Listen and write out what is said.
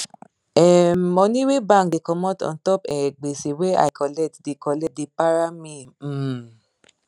um money wey bank da comot untop um gbese wey i colet da colet da para me um